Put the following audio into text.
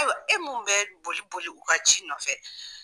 Ayiwa e mun be boli boli u ka ci nɔfɛ